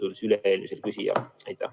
Kert Kingo, palun!